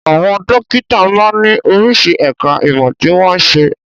Àwọn dókítà máa ń ní oríṣi ẹ̀ka ìmọ̀ tí wọ́n n ṣe.